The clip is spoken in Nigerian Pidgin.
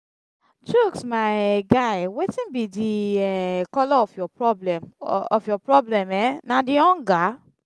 chuks my um guy wetin be the um colour of your problem of your problem um na the hunger?